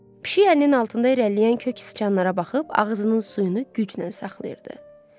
Pişik əlinin altında irəliləyən kök siçanlara baxıb ağzının suyunu güclə saxlayırdı.